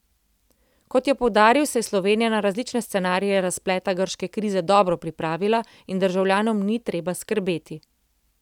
Kot je poudaril, se je Slovenija na različne scenarije razpleta grške krize dobro pripravila in državljanom ni treba skrbeti.